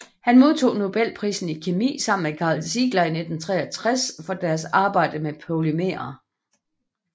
Han modtog nobelprisen i kemi sammen med Karl Ziegler i 1963 for deres arbejde med polymerer